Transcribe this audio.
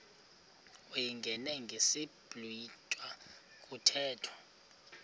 uyingene ngesiblwitha kuthethwa